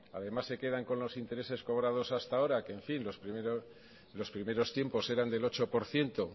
además se quedan con los intereses cobrados hasta ahora que en fin lo primero tiempos eran del ocho por ciento